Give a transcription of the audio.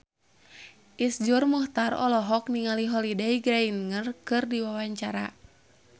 Iszur Muchtar olohok ningali Holliday Grainger keur diwawancara